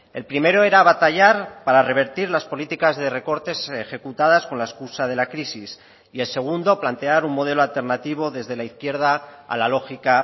el primero era batallar para revertir las políticas de recortes ejecutadas con la excusa de la crisis y el segundo plantear un modelo alternativo desde la izquierda a la lógica